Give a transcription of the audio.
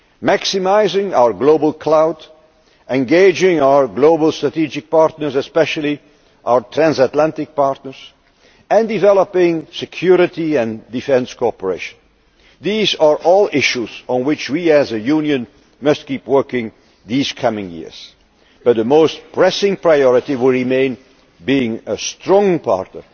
world. Maximising our global clout, engaging our global strategic partners, especially our transatlantic partners, and developing security and defence cooperation these are all issues on which we, as a Union, must keep working these coming years. But the most pressing priority will remain being a strong